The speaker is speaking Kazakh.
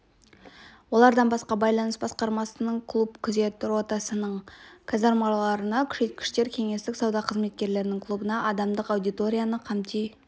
олардан басқа байланыс басқармасының клуб күзет ротасының қазармаларына күшейткіштер кеңестік сауда қызметкерлерінің клубына адамдық аудиторияны қамти